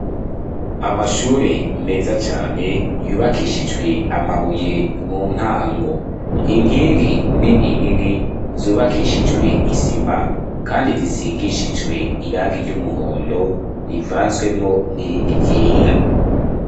Amashure meza cane yubakishijwe amabuye mu ntango. Inkingi nini nini zubakishijwe isima kandi zisigishijwe irangi ry'umuhondo rivanzwemwo n'irindi ryera.